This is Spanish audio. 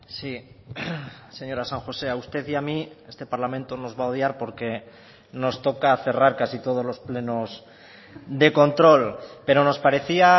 sí señora san josé a usted y a mí este parlamento nos va a odiar porque nos toca cerrar casi todos los plenos de control pero nos parecía